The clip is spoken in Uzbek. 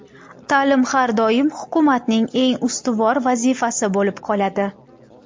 Ta’lim har doim hukumatning eng ustuvor vazifasi bo‘lib qoladi.